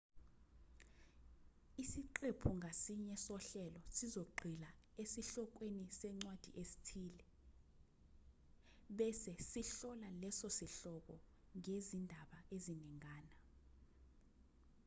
isiqephu ngasinye sohlelo sizogxila esihlokweni sencwadi ethile bese sihlola leso sihloko ngezindaba eziningana